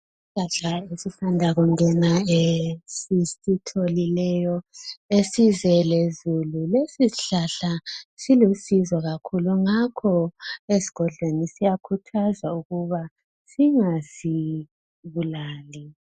Isihlahla esisanda kungena esisitholileyo esize lezulu lesi sihlahla silusizo kakhulu ngakho esigodleni siyakhuthazwa ukuba singasibulali.